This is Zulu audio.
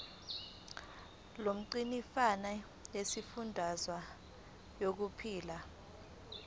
lomgcinimafa lesifundazwe liyokhipha